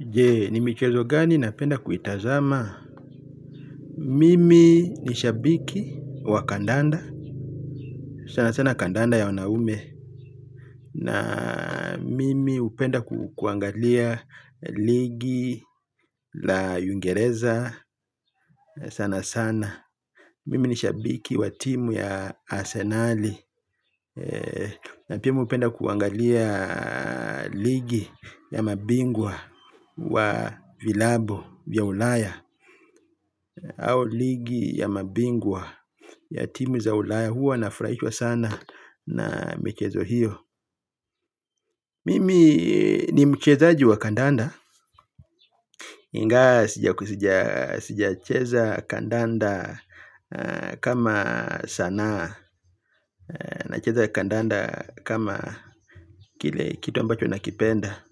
Je ni michezo gani napenda kuitazama. Mimi ni shabiki wa kandanda. Sana sana kandanda ya wanaume. Na mimi hupenda kuangalia ligi la uingereza sana sana. Mimi ni shabiki wa timu ya arsenali. Na pia mimi hupenda kuangalia ligi ya mabingwa wa vilabu vya ulaya. Au ligi ya mabingwa ya timu za ulaya huwa nafurahishwa sana na michezo hiyo. Mimi ni mchezaji wa kandanda ingawa sija ku sija sija cheza kandanda kama sanaa. Nacheza kandanda kama kile kitu ambacho nakipenda.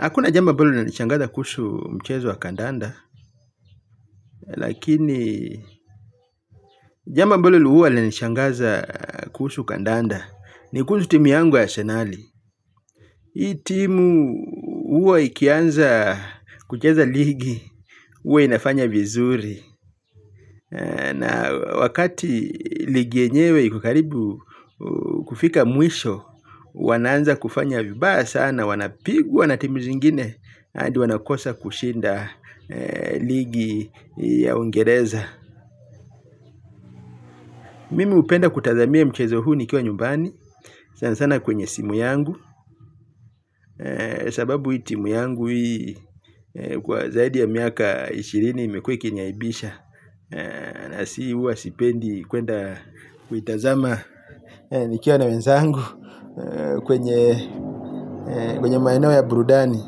Hakuna jambo ambalo linanishangaza kuhusu mchezo wa kandanda. Lakini jambo ambalo huwa linanishangaza kusu kandanda. Nikuhusu timu yangu ya asenali. Hii timu huwa ikianza kucheza ligi huwa inafanya vizuri. Na wakati ligi yenyewe ikokaribu kufika mwisho. Wanaanza kufanya vibaya sana wanapigwa na timu zingine hadi wanakosa kushinda ligi ya uingereza. Mimi hupenda kutazamia mchezo huu nikiwa nyumbani. Sana sana kwenye simu yangu. Sababu hii timu yangu hii kwa zaidi ya miaka ishirini imekuwa ikiniaibisha. Na si huwa sipendi kwenda kuitazama nikiwa na wenzangu kwenye maeneo ya burudani.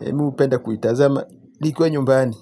Mimi hupenda kuitazama nikiwa nyumbani.